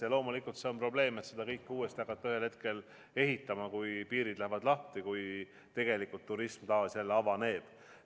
Ja loomulikult on suur probleem hakata seda kõike ühel hetkel uuesti ehitama, kui piirid lahti lähevad ja kui tegelikult turism taas avaneb.